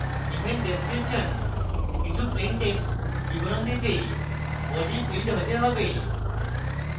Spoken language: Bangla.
event description কিছু plain text বিবরণ দিতে body field হতে পারে